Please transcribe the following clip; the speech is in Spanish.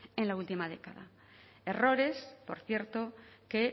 en la última década errores por cierto que